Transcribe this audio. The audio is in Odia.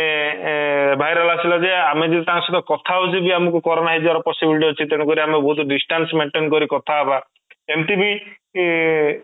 ଏଁ ଏଁ viral ଆସିଲା ଯେ ଆମେ ଯଦି ତାଙ୍କ ସହିତ କଥା ହଉଛି ବି ତ ଆମକୁ corona ହେଇଯିବାର possibility ଅଛି ଆମେ ବହୁତ ଡିଷ୍ଟାନ୍ସ maintain କରିକି କଥା ହେବା ଏମିତି ବି ଇ